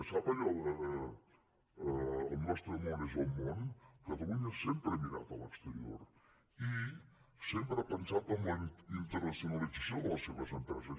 sap allò d’ el nostre món és el món catalunya sempre ha mirat a l’exterior i sempre ha pensat en la internacionalització de les seves empreses